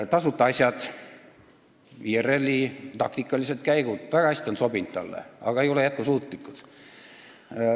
Tasuta asjad, IRL-i taktikalised käigud, on talle väga hästi sobinud, ehkki need ei ole jätkusuutlikud.